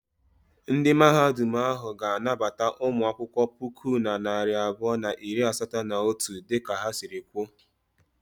Ndị Mahadum ahụ ha ga-anabata ụmụ akwụkwọ puku na narị abụọ na iri asatọ na otu dịka ha sịrị kwuo?